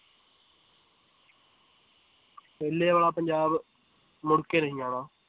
ਪਹਿਲੇ ਵਾਲਾ ਪੰਜਾਬ ਮੁੜ ਕੇ ਨਹੀਂ ਆਉਣਾ